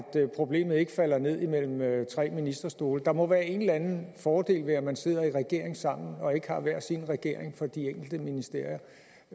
problemet ikke falder ned mellem mellem tre ministerstole der må være en eller anden fordel ved at man sidder i regering sammen og ikke har hver sin regering for de enkelte ministerier